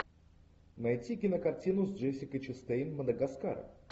найти кинокартину с джессикой честейн мадагаскар